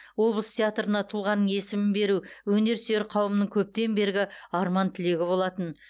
облыс театрына тұлғаның есімін беру өнерсүйер қауымның көптен бергі арман тілегі болатын